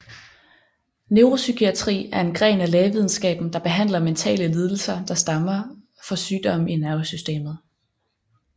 Neuropsykiatri en en gren af lægevidenskaben der behandler mentale lidelser der stammer for sygdomme i nervesystemet